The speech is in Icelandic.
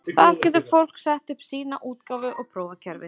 Þar getur fólk sett upp sína útgáfu og prófað kerfið.